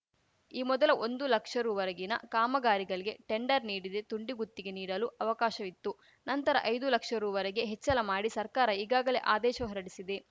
ಈ ಮೊದಲು ಒಂದು ಲಕ್ಷ ರುವರೆಗಿನ ಕಾಮಗಾರಿಗಳಿಗೆ ಟೆಂಡರ್‌ ನೀಡಿದೆ ತುಂಡು ಗುತ್ತಿಗೆ ನೀಡಲು ಅವಕಾಶವಿತ್ತು ನಂತರ ಐದು ಲಕ್ಷ ರುವರೆಗೆ ಹೆಚ್ಚಳ ಮಾಡಿ ಸರ್ಕಾರ ಈಗಾಗಲೇ ಆದೇಶ ಹೊರಡಿಸಿದೆ